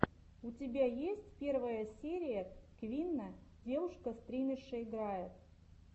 у тебя есть первая серия квинна девушка стримерша играет